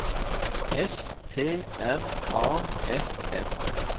S T R A F F